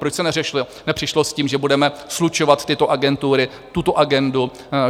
Proč se nepřišlo s tím, že budeme slučovat tyto agentury, tuto agendu.